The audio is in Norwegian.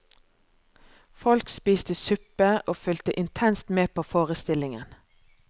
Folk spiste suppe, og fulgte intenst med på forestillingen.